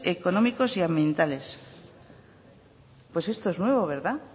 económicos y ambientales pues esto es nuevo verdad